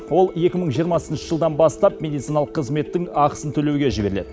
ол екі мың жиырмасыншы жылдан бастап медициналық қызметтің ақысын төлеуге жіберіледі